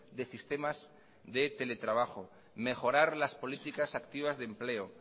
de sistemas de teletrabajo mejorar las políticas activas de empleo